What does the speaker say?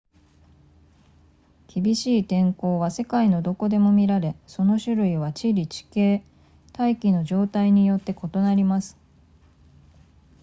厳しい天候は世界のどこでも見られその種類は地理地形大気の状態によって異なります